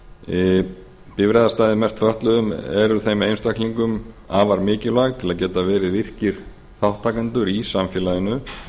afgreiðast bifreiðastæði merkt fötluðum eru þeim einstaklingum afar mikilvæg til að geta verið virkir þátttakendur í samfélaginu